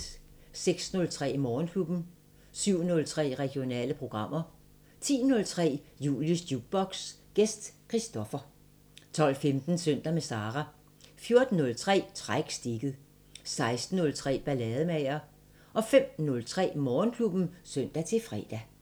06:03: Morgenklubben 07:03: Regionale programmer 10:03: Julies Jukebox: Gæst Christopher 12:15: Søndag med Sara 14:03: Træk stikket 16:03: Ballademager 05:03: Morgenklubben (søn-fre)